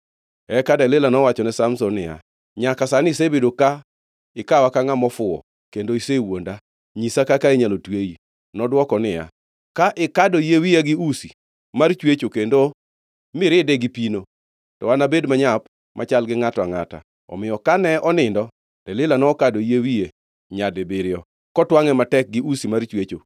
Eka Delila nowachone Samson niya, “Nyaka sani, isebedo ka ikawa ka ngʼama ofuwo kendo isewuonda. Nyisa kaka inyalo tweyi.” Nodwoko niya, “Ka ikado yie wiya gi usi mar chwecho kendo miride gi pino, to anabed manyap machal gi ngʼato angʼata.” Omiyo kane onindo Delila nokado yie wiye nyadibiriyo, kotwangʼe matek gi usi mar chwecho